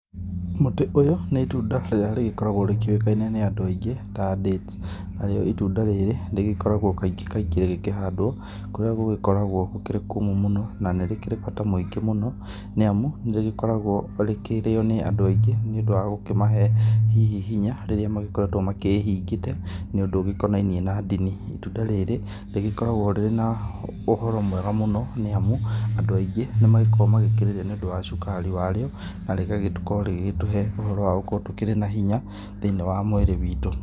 Mũtĩ ũyũ nĩ itunda rĩrĩa rĩgĩkoragwo rĩkĩũĩkaine nĩ andu aĩngĩ ta dates, narĩo itunda rĩrĩ rĩgĩkoragwo kaingĩ kaingĩ rĩgĩkĩhandwo kũrĩa gũgĩkoragwo gũkĩrĩ kũmũ mũno na nĩrĩkĩrĩ bata mũingĩ mũno nĩamu nĩrĩgĩkoragwo rĩkĩrĩo nĩ andũ aingĩ nĩũndũ wa gũkĩmahe hihi hinya rĩrĩa magĩkoretwo makĩhingĩte nĩundu ugĩkonainie na ndini. Itunda rĩrĩ rĩgĩkoragwo ũhoro mwega mũno nĩamu andũ aingĩ nĩmagĩkoragwo magĩkĩrĩrĩa nĩundũ wa cukari wa rĩo na rĩgagĩkũrwo rĩgĩgĩtũhe ũhoro wa gũgĩkorwo tũkĩrĩ na hinya thĩinĩ wa mwĩrĩ witũ.